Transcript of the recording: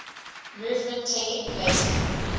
movement taking place